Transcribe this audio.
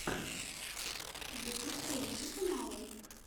ютуб поищи каналы